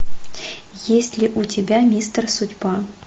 есть ли у тебя мистер судьба